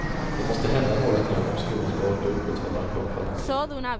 Det måste hända något nu om skolan skall orka upprätthålla en bra kvalitet.